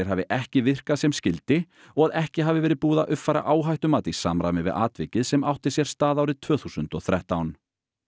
hafi ekki virkað sem skyldi og að ekki hafi verið búið að uppfæra áhættumat í samræmi við atvikið sem átti sér stað árið tvö þúsund og þrettán